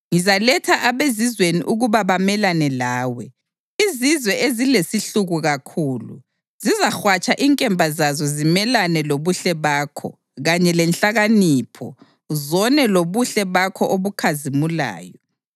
ngizaletha abezizweni ukuba bamelane lawe, izizwe ezilesihluku kakhulu; zizahwatsha inkemba zazo zimelane lobuhle bakho kanye lenhlakanipho, zone lobuhle bakho obukhazimulayo.